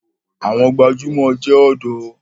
Àwọn gbajúmọ̀ jẹ ọ̀dọ́.